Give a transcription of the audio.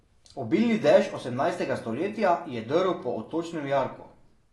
Obilni dež osemnajstega stoletja je drl po odtočnem jarku.